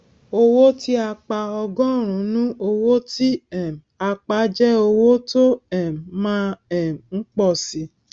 owó tí a pa ọgọrùnún owó tí um a pa jẹ owó tó um má um ń pọ síi